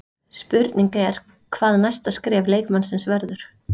Spurning er hvað næsta skref leikmannsins verður?